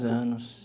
Anos.